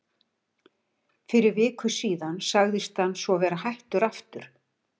Fyrir viku síðan sagðist hann svo vera hættur aftur.